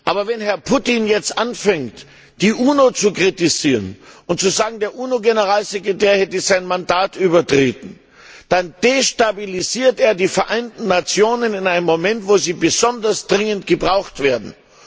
Aber wenn Herr Putin jetzt anfängt, die UNO zu kritisieren und zu sagen, der UNO Generalsekretär habe sein Mandat übertreten, dann destabilisiert er die Vereinten Nationen in einem Moment, wo sie besonders dringend gebraucht werden.